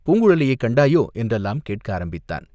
பூங்குழலியைக் கண்டாயோ?" என்றெல்லாம் கேட்க ஆரம்பித்தான்.